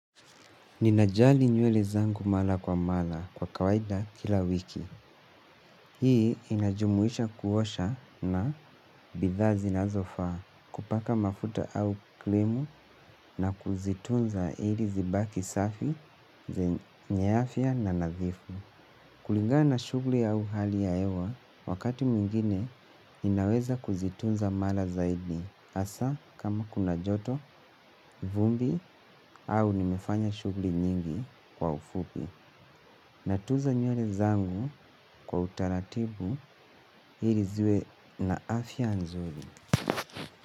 Ninajali nywele zangu mara kwa mara kwa kawaida kila wiki. Hii inajumuisha kuosha na bidhaa zinazofaa kupaka mafuta au krimu na kuzitunza ili zibaki safi, zenye afya na nadhifu. Kulingana na shughuli au hali ya hewa, wakati mwingine ninaweza kuzitunza mara zaidi hasa kama kuna joto, vumbi au nimefanya shughuli nyingi kwa ufupi. Natunza nywele zangu kwa utaratibu ili ziwe na afya nzuri.